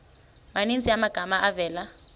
maninzi amagama avela